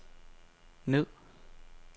ned